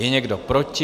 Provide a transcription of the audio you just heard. Je někdo proti?